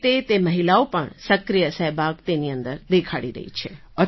તે રીતે તે મહિલાઓ પણ સક્રિય સહભાગ તેની અંદર દેખાડી રહી છે